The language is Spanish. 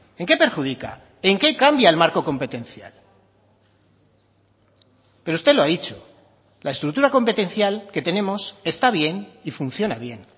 en qué perjudica en qué cambia el marco competencial pero usted lo ha dicho la estructura competencial que tenemos está bien y funciona bien